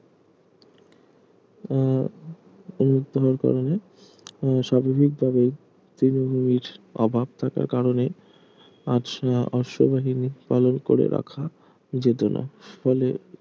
আহ উন্মুক্ত হওয়ার কারণে আহ স্বাভাবিক ভাবেই তৃণভূমির অভাব থাকার কারণে আজ অশ্ববাহিনি পালন করে রাখা যেত না ফলে